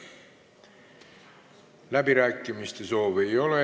Läbirääkimiste soovi ei ole.